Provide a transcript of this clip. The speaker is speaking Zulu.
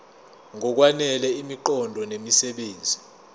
ngokwanele imiqondo nemisebenzi